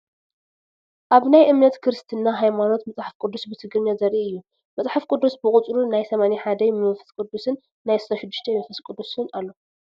ኣብ ናይ እምነት ክርስትና ሃይማኖት መፅሓፍ ቅዱስ ብትግርኛ ዘርኢ እዩ፡፡ መፅሓፍ ቅዱስ ብቁፅሩ ናይ 81 መ/ቅዱስን ናይ 66 መ/ቅዱስን ኣሎ፡፡